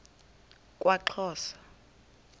kwaxhosa